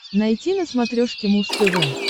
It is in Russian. найти на смотрешке муз тв